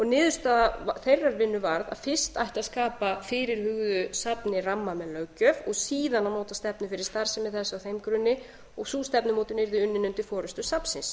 niðurstaða þeirrar vinnu varð að fyrst ætti að skapa fyrirhuguðu safni ramma með löggjöf og síðan að móta stefnu fyrir starfsemi þess á þeim grunni og sú stefnumótun yrði unnin undir forustu safnsins